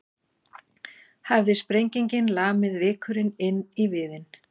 Hafði sprengingin lamið vikurinn inn í viðinn.